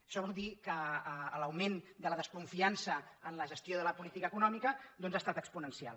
això vol dir que l’augment de la desconfiança en la gestió de la política econòmica ha estat exponencial